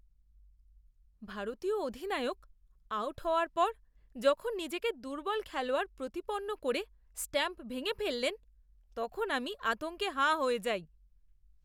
ভারতীয় অধিনায়ক আউট হওয়ার পর যখন নিজেকে দুর্বল খেলোয়াড় প্রতিপন্ন করে স্টাম্প ভেঙে ফেললেন, তখন আমি আতঙ্কে হাঁ হয়ে যাই!